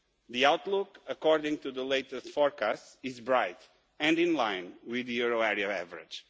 The outlook according to the latest forecasts is bright and in line with the euro area average.